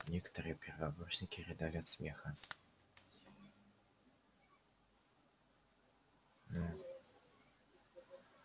некоторые первокурсники рыдали от смеха ну